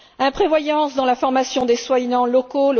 Imprévoyance dans la formation des soignants locaux.